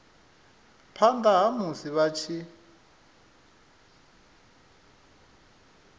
phana ha musi vha tshi